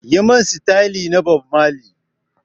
Yi mun sitayil na Bob mali!